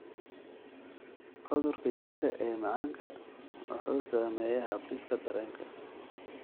Cudurka jirka ee macanka wuxuu saameeyaa habdhiska dareenka.